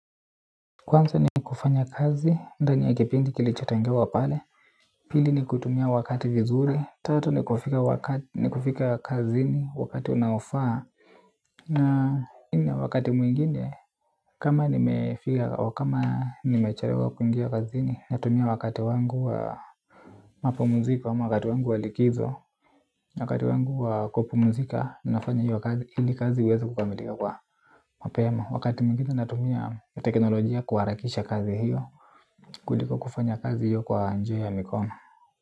Kwanza ni kufanya kazi ndani ya kipindi kilichotengewa pale. Pili ni kutumia wakati vizuri. Tatu ni kufika kazini wakati unaofaa. Na nne wakati mwingine kama nimefiga wakama nimechariwa kuingia kazi ni natumia wakati wangu wa mapumuzika hama wakati wangu walikizo. Wakati wangu wa kupumuzika ninafanya hiyo kazi hili kazi ieza kukamilika kwa mapema wakati mwingine natumia teknolojia kuwarakisha kazi hiyo. Kuliko kufanya kazi iyo kwa njia ya mikono.